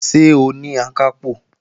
Ṣé òun ni Akápò?